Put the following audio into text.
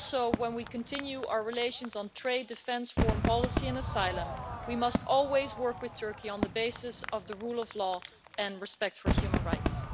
When we continue our relations on trade, defence, foreign policy or asylum, we must always work with Turkey on the basis of the rule of law and respect for human rights.